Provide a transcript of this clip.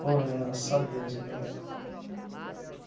leva, só Deus mesmo. Nossa